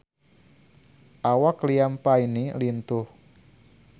Awak Liam Payne lintuh